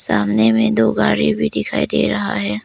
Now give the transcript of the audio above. सामने में दो गाड़ी भी दिखाई दे रहा है।